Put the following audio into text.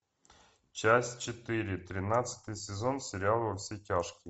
часть четыре тринадцатый сезон сериала во все тяжкие